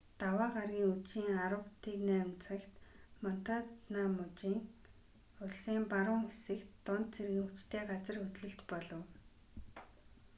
даваа гарагийн үдшийн 10:08 цагт монтана муж улсын баруун хэсэгт дунд зэргийн хүчтэй газар хөдлөлт болов